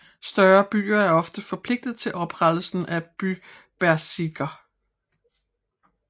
Større byer er ofte forpligtet til oprettelsen af bybezirke